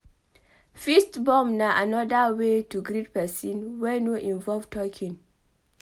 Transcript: Fist bump na anoda way to greet person wey no involve talking